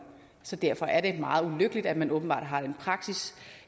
så derfor er det meget ulykkeligt at man åbenbart har den praksis